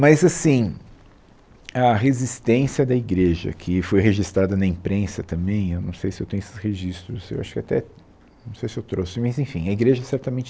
Mas, assim, a resistência da igreja, que foi registrada na imprensa também, eu não sei se eu tenho esses registros, eu acho que eu até, não sei se eu trouxe, mas enfim, a igreja certamente